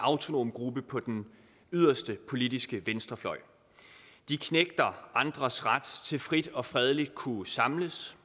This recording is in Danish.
autonom gruppe på den yderste politiske venstrefløj de knægter andres ret til frit og fredeligt at kunne samles